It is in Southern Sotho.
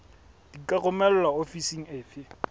di ka romelwa ofising efe